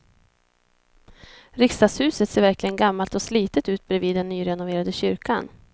Riksdagshuset ser verkligen gammalt och slitet ut bredvid den nyrenoverade kyrkan.